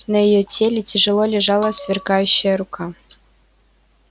на её теле тяжело лежала сверкающая рука